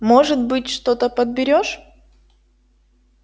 может быть что-то подберёшь